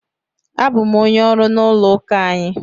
Abụ m onye ọrụ n'ụlọụka anyị.